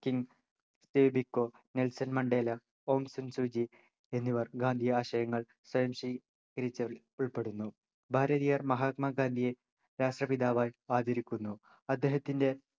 King സേബിക്കോ Nelson Mandela Aung San Suu Kyi എന്നിവർ ഗാന്ധി ആശയങ്ങൾ സ്വാംശീ കരിച്ചവരിൽ ഉൾപ്പെടുന്നു ഭാരതീയർ മഹാത്മാഗാന്ധിയെ രാഷ്ട്രപിതാവായി ആദരിക്കുന്നു അദ്ദേഹത്തിൻ്റെ